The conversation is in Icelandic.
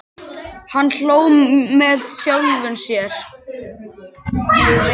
Hann hló með sjálfum sér.